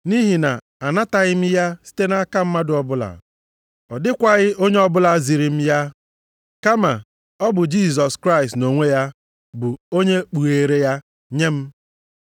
Nʼihi na anataghị m ya site nʼaka mmadụ ọbụla, ọ dịkwaghị onye ọbụla ziri m ya, kama ọ bụ Jisọs Kraịst nʼonwe ya bụ onye kpughere ya nye m.